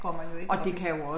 Går man jo ikke op i det